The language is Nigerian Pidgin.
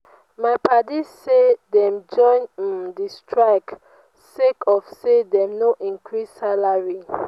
my padi say dem join um di strike sake of sey dem no increase salary.